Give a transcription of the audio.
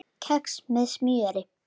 Kex með smjöri